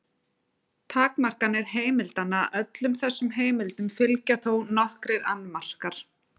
Takmarkanir heimildanna Öllum þessum heimildum fylgja þó nokkrir annmarkar.